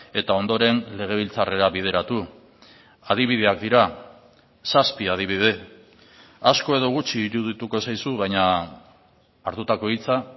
eta ondoren legebiltzarrera bideratu adibideak dira zazpi adibide asko edo gutxi irudituko zaizu baina hartutako hitza